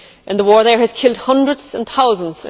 The war there has killed hundreds and thousands